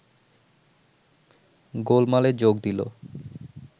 গোলমালে যোগ দিল